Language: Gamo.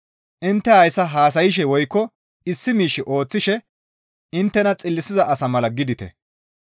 Intte haasaya haasayshe woykko issi miish ooththishe inttena xillisiza asa mala gidite.